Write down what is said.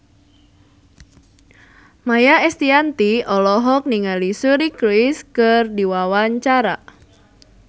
Maia Estianty olohok ningali Suri Cruise keur diwawancara